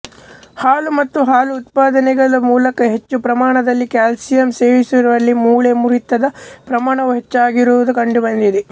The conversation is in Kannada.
ಹಾಲು ಮತ್ತು ಹಾಲು ಉತ್ಪಾದನೆಗಳ ಮೂಲಕ ಹೆಚ್ಚು ಪ್ರಮಾಣದಲ್ಲಿ ಕ್ಯಾಲ್ಸಿಯಂ ಸೇವಿಸುವವರಲ್ಲಿ ಮೂಳೆ ಮುರಿತದ ಪ್ರಮಾಣವು ಹೆಚ್ಚಾಗಿರುವುದು ಕಂಡುಬಂದಿದೆ